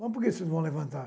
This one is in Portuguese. Mas por que vocês vão levantar?